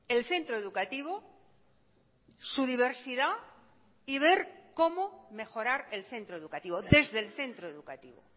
el centro educativo su diversidad y ver cómo mejorar el centro educativo desde el centro educativo